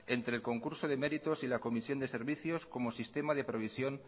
entre el concurso de méritos y la comisión de servicios como sistema de provisión